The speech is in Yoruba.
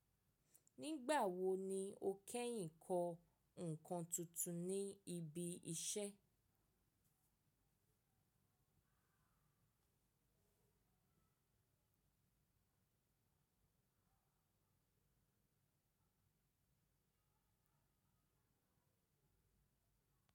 Nígbà wo ni o kẹ́yìn kọ nǹkan tuntun ní ibi iṣẹ́?